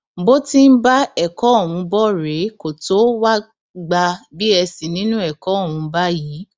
bó ti ń bá ẹkọ ọhún bọ rèé kó tóo wáá gba bsc nínú ẹkọ ọhún báyìí